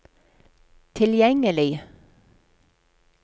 tilgjengelig